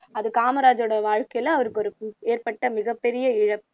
அது காமராஜர் வாழ்க்கையில அவருக்கு ஏற்ப்பட்ட மிகப்பெரிய இழப்பு